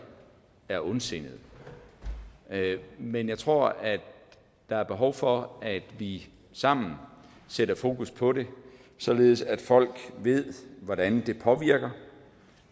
er ondsindede men jeg tror at der er behov for at vi sammen sætter fokus på det således at folk ved hvordan det påvirker